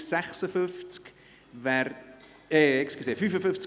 Abstimmung zum Traktandum 55: